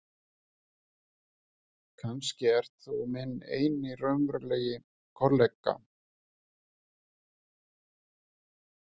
Kannski ert þú minn eini raunverulegi kollega.